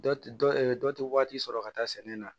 Dɔ tɛ dɔ dɔ tɛ waati sɔrɔ ka taa sɛnɛ na